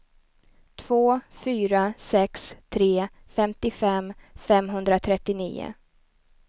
två fyra sex tre femtiofem femhundratrettionio